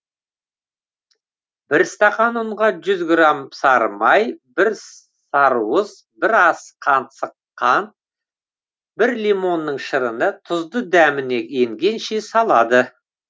бір стақан ұнға жүз грамм сары май бір сарыуыз бір ас қансық қант бір лимонның шырыны тұзды дәміне енгенше салады